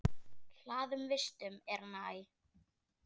Hlaðinn vistum er hann æ.